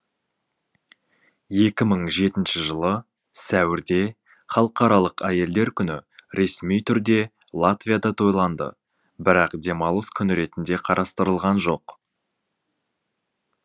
екі мың жетінші жылы сәуірде халықаралық әйелдер күні ресми түрде латвияда тойланды бірақ демалыс күні ретінде қарастырылған жоқ